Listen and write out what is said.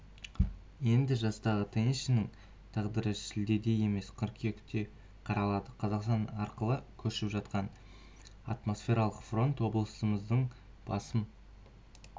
енді жастағы теннисшінің тағдыры шілдеде емес қыркүйекте қаралады қазақстан арқылы көшіп жатқан атмосфералық фронт облыстарымыздың басым